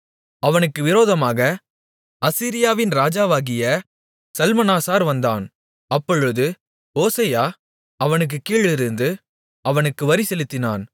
அவனுக்கு விரோதமாக அசீரியாவின் ராஜாவாகிய சல்மனாசார் வந்தான் அப்பொழுது ஓசெயா அவனுக்குக் கீழிருந்து அவனுக்கு வரி செலுத்தினான்